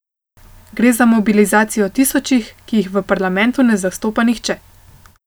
Gre za mobilizacijo tisočih, ki jih v parlamentu ne zastopa nihče.